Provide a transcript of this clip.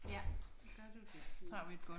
Ja så gør du det Signe